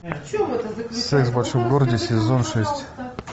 секс в большом городе сезон шесть